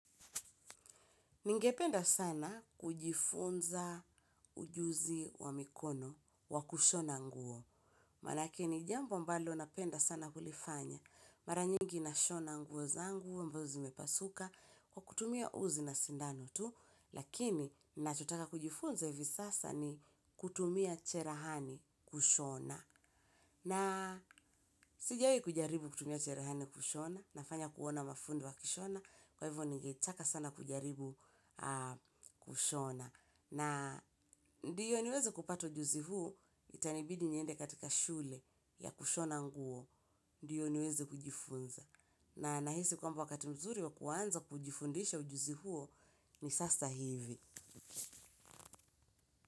Ningependa sana kujifunza ujuzi wa mikono wa kushona nguo. Maanake ni jambo mbalo napenda sana kulifanya. Mara nyingi nashona nguo zangu ambazo zimepasuka kwa kutumia uzi na sindano tu. Lakini nachotaka kujifunza hivi sasa ni kutumia cherehani kushona na sijawahi kujaribu kutumia cherehani kushona nafanya kuona mafundu wa kushona. Kwa hivyo nigetaka sana kujaribu kushona na ndiyo niweze kupata ujuzi huu itanibidi niende katika shule ya kushona nguo ndiyo niweze kujifunza na nahisi kwamba wakati mzuri wa kuanza kujifundisha ujuzi huo ni sasa hivi.